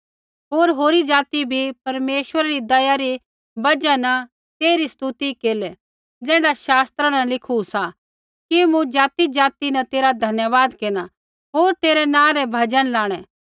होर होरी ज़ाति बी परमेश्वरा री दया री बजहा न तेइरी स्तुति केरलै ज़ैण्ढा शास्त्रा न लिखू सा कि मूँ ज़ातिज़ाति न तेरा धन्यवाद केरना होर तेरै नाँ रै भजन लाणै